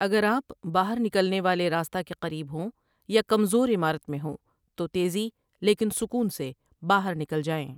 اگر آپ باہر نکلنے والے راستہ کے قریب ہوں یا کمزور عمارت میں ہوں تو تیزی لیکن سکون سے باہر نکل جائیں ۔